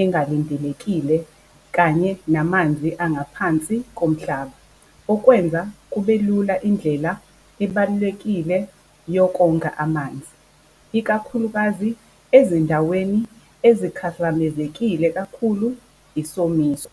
engalindelekile kanye namanzi angaphansi komhlaba, okwenza kube lula indlela ebalulekile yokonga amanzi, ikakhulukazi ezindaweni ezikhahlamezekile kakhulu isomiso.